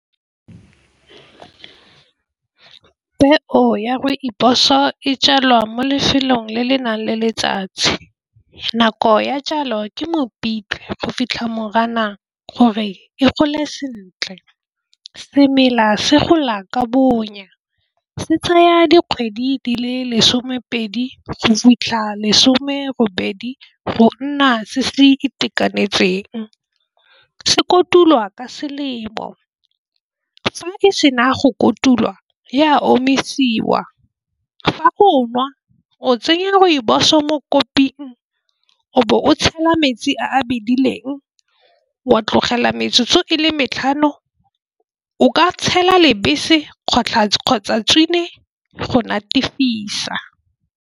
Peo ya rooibos-o e jalwa mo lefelong le le nang le letsatsi nako ya jalo ke mopitlwe go fitlha moriana gore e gole sentle. Semela se gola ka bonya se tsaya dikgwedi di le lesomepedi go fitlha lesome robedi go nna se se itekanetseng. Se kotulwa ka selemo fa e sena go kotulwa e a omisiwa. Fa o nwa o tsenya rooibos-o mo koping o be o tshela metsi a bedileng wa tlogela metsotso e le matlhano o ka tshela lebese kgotlha kgotsa go natefisa.